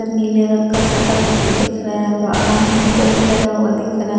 नीले रंग का शटर दिख रहा है बाहर मीटर भी लगा हुआ दिख रहा है।